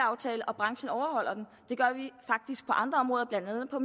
aftale og branchen overholder den det gør vi faktisk på andre områder blandt andet på